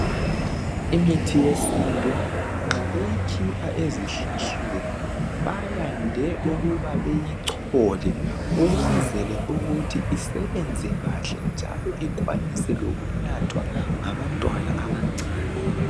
Imithi yesintu nxa uyikhipha ezihlahleni bayande ukuba beyichole ukwenzela ukuthi isebenze kahle njalo ikwanise lokunathwa ngabantwana abancane